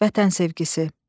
Vətən sevgisi.